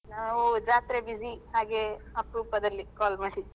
ನಾವು ಜಾತ್ರೆ busy ಹಾಗೆ ಅಪ್ರೂಪದಲ್ಲಿ call ಮಾಡಿದ್.